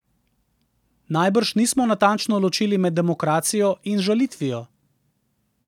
Najbrž nismo natančno ločili med demokracijo in žalitvijo.